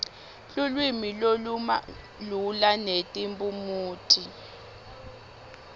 lulwimi lolumalula netiphumuti